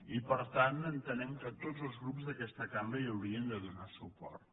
i per tant entenem que tots els grups d’aquesta cambra hi haurien de donar suport